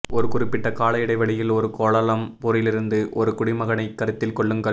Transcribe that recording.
ஒரு குறிப்பிட்ட கால இடைவெளியில் ஒரு கோலாலம்பூரிலிருந்து ஒரு குடிமகனைக் கருத்தில் கொள்ளுங்கள்